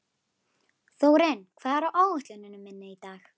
Þórinn, hvað er á áætluninni minni í dag?